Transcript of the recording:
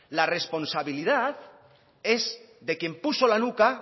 la responsabilidad es de quien puso la nuca